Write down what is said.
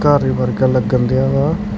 ਓਹਦੇ ਵਰਗਾ ਲੱਗਣ ਦਿਆ ਵਾ।